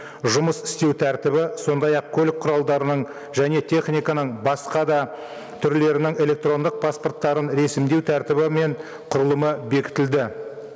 жұмыс істеу тәртібі сондай ақ көлік құралдарының және техниканың басқа да түрлерінің электрондық паспорттарын рәсімдеу тәртібі мен құрылымы бекітілді